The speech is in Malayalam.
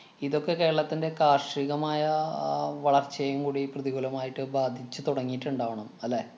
ഇതൊക്കെ കേരളത്തിന്‍റെ കാര്‍ഷികമായ അഹ് വളര്‍ച്ചയെയും കൂടി പ്രതികൂലമായിട്ട് ബാധിച്ചു തുടങ്ങിയിട്ടുണ്ടാവണം അല്ലേ?